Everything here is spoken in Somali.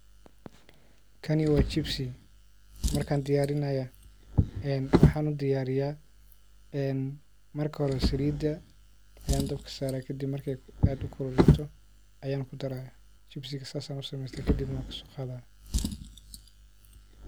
Kani waa chips markaan diyaarinaya waxaan udiyaariya marka hore saliida ayaan dabka saraa kadib markey aad ukululaato ayaan kudaya. Chips ka saas ayaan udiyarsahda kadib neh waan kasooqadhaya.